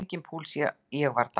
Það var enginn púls, ég var dáinn.